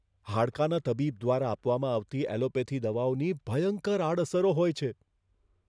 હાડકાના તબીબ દ્વારા આપવામાં આવતી એલોપેથી દવાઓની ભયંકર આડઅસરો હોય છે.